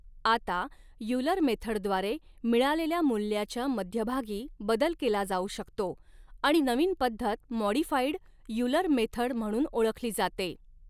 आता यूलर मेथडद्वारे मिळालेल्या मूल्याच्या मध्यभागी बदल केला जाऊ शकतो आणि नवीन पद्धत मॉड़िफाइड यूलर मेथड म्हणून ओळखली जाते.